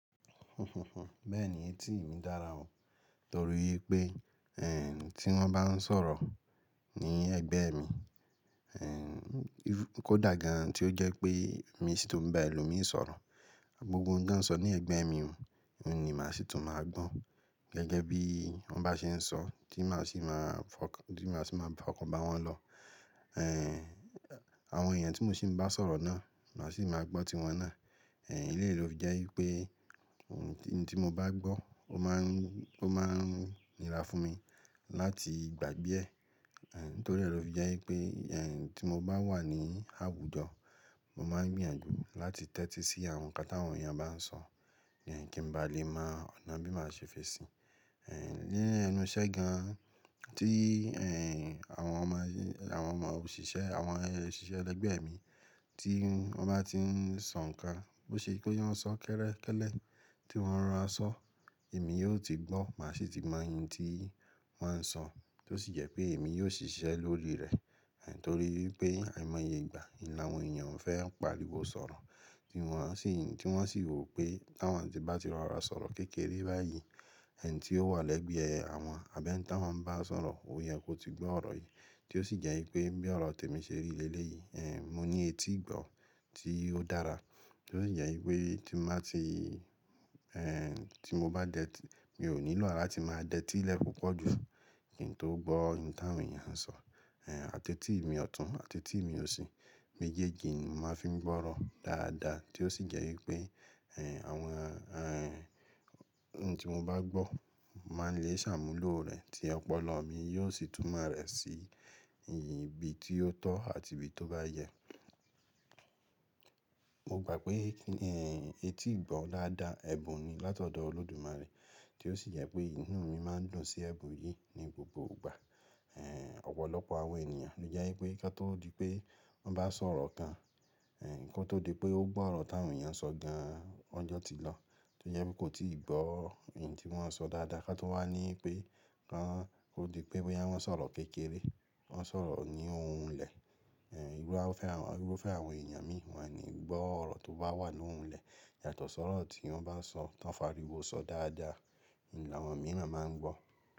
Bẹ́ẹ̀ni etí mi dára o, torí pé ẹ̀ ti wọ́n bá ń sọ̀rọ̀ ní ẹ̀gbẹ́ mi, e kó dàgan tí ó jẹ́ pé mi sì tún bá ẹlòmíì sọ̀rọ̀. Gbogbo ohun tí wọ́n sọ ní ẹ̀gbẹ́ mi, òun ni màá sì tún máa gbọ́. Gẹ́gẹ́ bí wọ́n bá ṣe ń sọ, tí màá sì maa ti maa si máa fọkọ́ bá wọn lọ. Ẹ̀ Àwọn èèyàn tí mo sì ń bá sọ̀rọ̀ náà, lo sì máa gbọ́ tí wọn náà. Ẹ̀ Léyi lo fi jẹ́ pé ohun tí mo bá gbọ́, ó máa ń, ó máa ń nira fún mi láti gbàgbé ẹ̀. Ẹ̀ Nítorí lò fi jẹ́ pé ẹ̀ tí mo bá wà ní àwùjọ, mo máa ń gbìyànjú láti tẹ́tí sí àwọn nǹkan tí àwọn èèyàn bá ń sọ, kí n ba lè mọ ọ̀nà bí màá ṣe fẹ̀sì. Ní enú iṣẹ́ gan-an. Tí ẹ̀ àwọn ọmọ, àwọn ọmọ òṣìṣẹ́, àwọn òṣìṣẹ́ ẹlẹgbẹ́ mi tí wọ́n bá ti ń sọ nǹkan, bó ṣe kó yá wọn sọ kẹ́rẹ́kẹ́ lẹ̀ tí wọ́n rora sọ, èmi yóò ti gbọ́, màá sì ti mọ ohun tí wọ́n sọ, tó sì jẹ pé èmi yóò ṣiṣẹ́ lórí rẹ̀. Ẹ̀ Nítorí pé àìmọye ìgbà, láwọ̀n èèyàn o fẹ́ ń pariwo sọ̀rọ̀ tí wọ́n sì, tí wọ́n sì rò pé táwọn tí bá ti rọra sọ̀rọ̀ kékeré báyìí, ẹ̀ ni tí ó wà lẹ́gbẹ̀ẹ́ àwọn abi eni tawọ́n bá sọ̀rọ̀, ò yẹ kó ti gbọ́ ọ̀rọ̀ yìí. Tí ó sì jẹ́ pé bí ọ̀rọ̀ tèmi ṣe rí lélè yìí, ẹ̀ mo ní etí ìgbọ́ tí ó dára, tó sì jẹ wi pé tí n bàá ti ẹ̀ tí mo bá dẹ̀tí, mi ò nílò àrá ti màá dẹ̀tí pupo jù kí n tó gbọ́ ohun tí àwọn èèyàn ń sọ. Àtẹ́tí mi ọ̀tún, àtẹ́tí mi òsì, mejeji ni mo màá fi ń gbọ́ ọ̀rọ̀ dáadáa, tí ó sì jẹ́ wípé ẹ̀ àwọn ẹ̀ ohun tí mo bá gbọ́, mo màá le ṣàmúlò rẹ̀ tí ọpọlọ mi yóò sì tún máa rẹ̀ sí ibi tí ó tọ́ àti ibi tí ó bá yẹ. Mo gbà pé ẹ̀ etí ìgbọ́ daádàá ẹbun ni látọ̀dọ̀ Olódùmarè, tí ó sì jẹ pé inú mi máa ń dùn sí ẹbun yìí ní gbogbo ìgbà. Ẹ̀ Ọ̀pọ̀lọpọ̀ àwọn èèyàn ló jẹ́ wípé ká tó di pé wọ́n bá sọ̀rọ̀ kan, ẹ̀ kó tó di pé ó gbọ́ ọ̀rọ̀ tí àwọn èèyàn sọ gan-an, ọ́jọ́ ti lọ. Tí ó yẹ wípé kò tíì gbọ́ ohun tí wọ́n sọ dáadáa, ká tó wà ní pé kán ó di pé bóyá wọ́n sọ̀rọ̀ kékeré, wọ́n sọ̀rọ̀ ní ohùn ìlẹ̀, ẹ̀ irú a fe, irú fe àwọn èèyàn mi, wọn ni gbọ́ ọ̀rọ̀ tó bá wà nú ohùn ìlẹ̀. Yàtọ̀ sọ́rọ̀ tí wọ́n bá ń sọ, tí wọ́n ń fàríwọ́ sọ dáadáa, un láwọ̀n mi ran máa ń gbọ́.